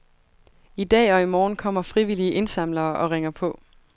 I dag og i morgen kommer frivillige indsamlere og ringer på.